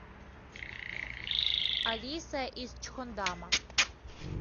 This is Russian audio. алиса из чхондама